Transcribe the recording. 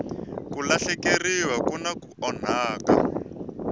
ku lahlekeriwa kumbe ku onhaka